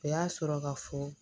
O y'a sɔrɔ ka fɔ